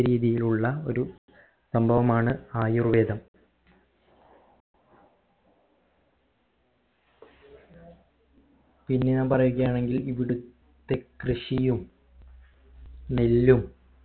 രീതിയിലുള്ള ഒരു സംഭവമാണ് ആയുർവേദം പിന്നെ ഞാൻ പറയുക ആണെങ്കിൽ ഇവിടുത്തെ കൃഷിയും നെല്ലും